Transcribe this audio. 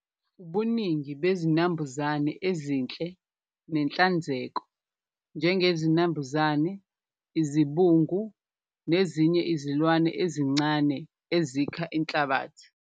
Ubuningi bezinambuzane ezinhle nenhlanzeko njengezinambuzane, izibungu nezinye izilwane ezincane ezikha inhlabathi.